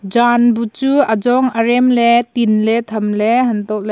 jan bu chu ajong arem ley tinley tham ley anto ley--